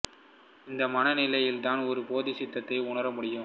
இந்த மன நிலையில் தான் ஒரு போதிசித்தத்தை உணர இயலும்